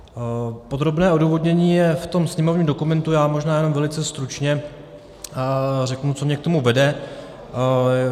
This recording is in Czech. Podrobné odůvodnění je v tom sněmovním dokumentu, já možná jenom velice stručně řeknu, co mě k tomu vede.